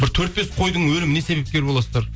бір төрт бес қойдың өліміне себепкер боласыздар